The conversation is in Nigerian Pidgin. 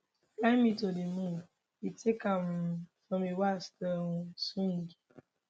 fly me to di moon im take am um from a waltz to a um swing